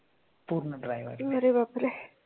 अरे बापरे